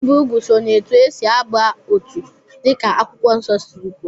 Ibi úgwù so na etu esi aba otu dịka Akwụkwọ Nsọ siri kwuo